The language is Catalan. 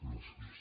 gràcies